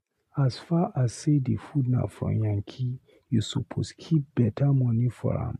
As far as sey di food na from yankee, you suppose keep beta moni for am.